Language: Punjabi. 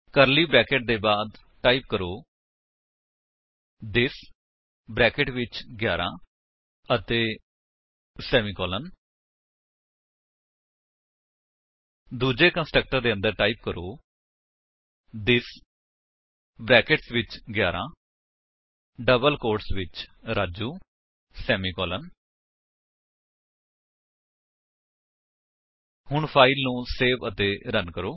ਕਰਲੀ ਬਰੈਕੇਟ ਦੇ ਬਾਅਦ ਟਾਈਪ ਕਰੋ ਥਿਸ ਬਰੈਕੇਟਸ ਵਿੱਚ 11 ਅਤੇ ਸੇਮੀਕਾਲਨ ਦੂੱਜੇ ਕੰਸਟਰਕਟਰ ਦੇ ਅੰਦਰ ਟਾਈਪ ਕਰੋ ਥਿਸ ਬਰੈਕੇਟਸ ਵਿੱਚ 11 ਡਬਲ ਕੋਟਸ ਵਿੱਚ ਰਾਜੂ ਸੇਮੀਕਾਲਨ ਹੁਣ ਫਾਇਲ ਨੂੰ ਸੇਵ ਅਤੇ ਰਨ ਕਰੋ